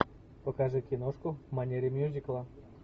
покажи киношку в манере мюзикла